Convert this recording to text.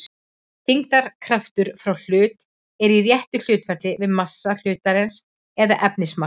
þyngdarkraftur frá hlut er í réttu hlutfalli við massa hlutarins eða efnismagn